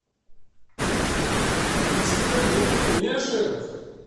принеси ка мне пельмешек